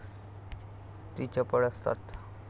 ती चपळ असतात.